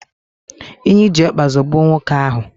Enyi ji ọkpa zọgbuo nwoke ahu